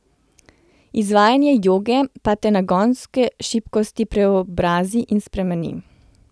Izvajanje joge pa te nagonske šibkosti preobrazi ali spremeni.